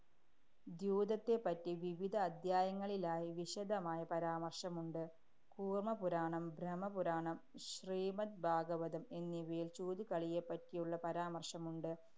ദ്യൂതത്തെപ്പറ്റി വിവിധ അധ്യായങ്ങളിലായി വിശദമായ പരാമര്‍ശമുണ്ട്. കൂര്‍മപുരാണം, ബ്രഹ്മപുരാണം, ശ്രീമദ് ഭാഗവതം എന്നിവയില്‍ ചൂതുകളിയെപ്പറ്റിയുള്ള പരാമര്‍ശമുണ്ട്.